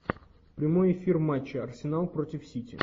прямой эфир матча арсенал против сити